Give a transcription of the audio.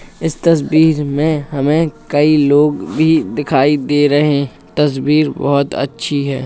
इस तस्बीर में हमें कई लोग भी दिखाई दे रहें तस्बीर बहोत अच्छी है ।